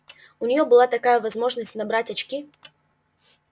у нее была такая возможность набрать очки